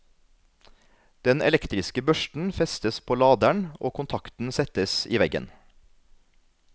Den elektriske børsten festes på laderen og kontakten settes i veggen.